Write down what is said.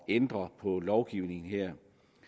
ændre på lovgivningen her